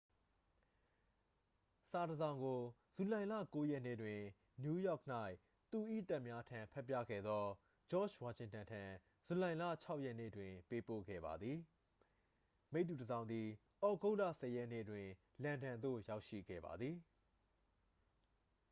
စာတစ်စောင်ကို ဇူလိုင်လ 9 ရက်နေ့တွင် နယူးယောက်၌ သူ၏တပ်များထံဖတ်ပြခဲ့သော ဂျော့ဂျ်ဝါရှင်တန်ထံ ဇူလိုင်လ 6 ရက်နေ့တွင် ပေးပို့ခဲ့ပါသည် မိတ္တူတစ်စောင်သည် သြဂုတ်လ 10 ရက်နေ့တွင် လန်ဒန်သို့ရောက်ရှိခဲ့ပါသည်